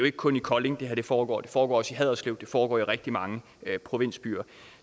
ikke kun i kolding at det her foregår det foregår også i haderslev og det foregår i rigtig mange provinsbyer